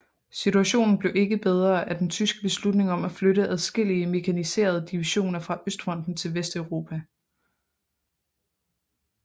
Situationen blev ikke bedre af den tyske beslutning om at flytte adskillige mekaniserede divisioner fra Østfronten til Vesteuropa